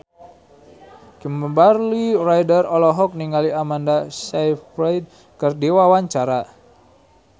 Kimberly Ryder olohok ningali Amanda Sayfried keur diwawancara